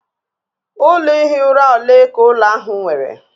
Ụlọ ihi ụra ole ka ụlọ ahụ nwere?